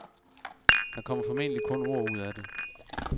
Der kommer formentlig kun ord ud af det.